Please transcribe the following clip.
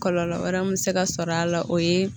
Kɔlɔlɔ wɛrɛ min bɛ se ka sɔrɔ a la o ye.